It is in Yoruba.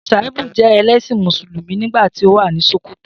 Shaibu jẹ ẹlẹ́ṣin Mùsùlùmí nígbà tí ó wà ní Sòkòtò.